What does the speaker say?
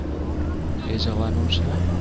એ જવાનું છે.